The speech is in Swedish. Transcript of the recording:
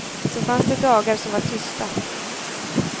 Så fanns det dagar som var tysta.